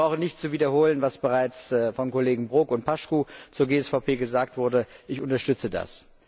Ich brauche nicht zu wiederholen, was bereits von den Kollegen Brok und Paşcu zur GSVP gesagt wurde, ich unterstütze das.